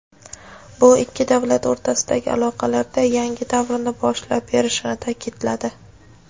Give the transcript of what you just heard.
bu ikki davlat o‘rtasidagi aloqalarda yangi davrni boshlab berishini ta’kidladi.